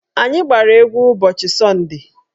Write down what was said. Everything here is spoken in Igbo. Anyị gbara egwu ụbọchị sọnde